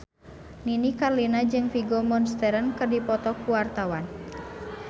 Nini Carlina jeung Vigo Mortensen keur dipoto ku wartawan